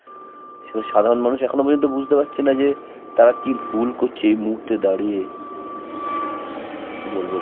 সেটা সাধারণ মানুষ এখনো পর্যন্ত বুঝতে পারছে না যে তারা কি ভুল করছে এই মুহূর্তে দাঁড়িয়ে. কি বলবো